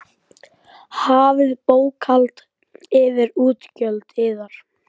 Hafið bókhald yfir útgjöld yðar.